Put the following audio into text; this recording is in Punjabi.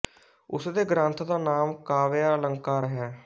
ਉਸ ਦੇ ਗ੍ਰੰਥ ਦਾ ਨਾਮ ਕਾਵ੍ਯ ਅਲੰਕਾਰ ਹੈ